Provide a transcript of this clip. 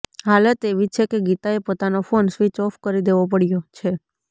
હાલત એવી છે કે ગીતાએ પોતાનો ફોન સ્વિચ ઑફ કરી દેવો પડ્યો છે